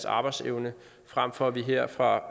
arbejdsevne frem for at vi her fra